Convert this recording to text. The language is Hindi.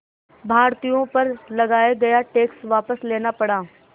भारतीयों पर लगाया गया टैक्स वापस लेना पड़ा